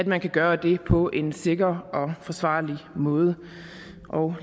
man kan gøre det på en sikker og forsvarlig måde